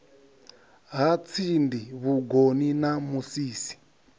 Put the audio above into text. ha tsindi vhugoni na musisi